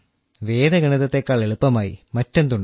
വേദഗണിതത്തേക്കാൾ എളുപ്പമായി മറ്റെന്തുണ്ട്